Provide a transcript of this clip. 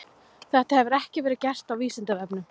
Þetta hefur ekki verið gert á Vísindavefnum.